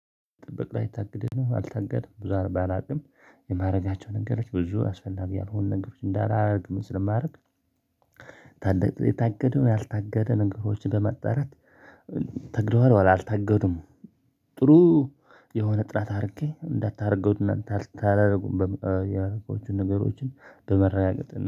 ጥብቅ ላይ ታግደን አልታገደም ብዙ አርባ አላውቅም። የማድረጋቸው ነገሮች ብዙ አስፈላጊ ያልሆኑ ነገሮች እንዳላደርግ ስለማረግ። ታገደ የታገደውን ያልታገደ ነገሮችን በማጣራት። ተግዷል አልታገዱም። ጥሩ። የሆነ ጥራት አድርጌ እንዳታደርገው እናንተ አላደርጉም በሚል ያደረገው ነገሮችን በመራጋገጥ አና